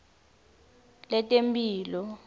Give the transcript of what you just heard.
letemphilo